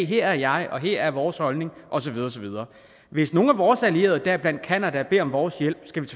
her er jeg og her er vores holdning og så videre og så videre hvis nogen af vores allierede deriblandt canada beder om vores hjælp skal vi